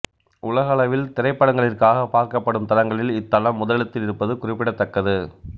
உலகளவில் திரைப்படங்களிற்காகப் பார்க்கப்படும் தளங்களில் இத்தளம் முதலிடத்தில் இருப்பது குறிப்பிடத்தக்கது